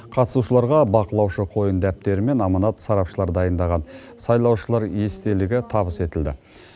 қатысушыларға бақылаушы қойын дәптері мен аманат сарапшылары дайындаған сайлаушылар естелігі табыс етілді